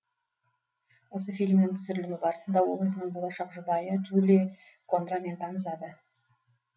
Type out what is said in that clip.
осы фильмнің түсірілімі барысында ол өзінің болашақ жұбайы джули кондрамен танысады